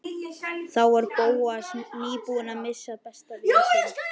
Þá var Bóas nýbúinn að missa besta vin sinn.